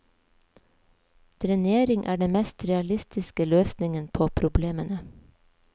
Drenering er den mest realistiske løsningen på problemene.